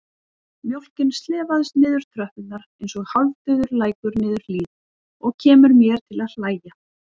Mjólkin slefast niður tröppurnar einsog hálfdauður lækur niður hlíð og kemur mér til að hlæja.